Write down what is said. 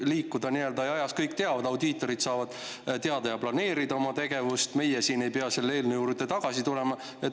Kõik teaksid arvestada – audiitorid saaksid planeerida oma tegevust ja meie siin ei peaks selle eelnõu juurde tagasi tulema.